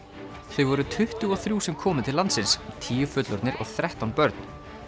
þau voru tuttugu og þrjú sem komu til landsins tíu fullorðnir og þrettán börn